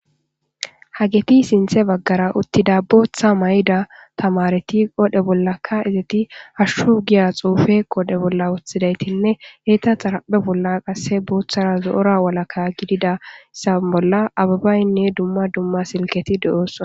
Hageti sinthan bagara utizaytida booththa mayida tamareti qodhera bolla qa izeti hashu hiya xufe qodhera bola wotizayitinne eta xaraphe bolla qase botara zoo'ora walaka gidida sam bolla abebayine dumma dumma silketi de'oosona.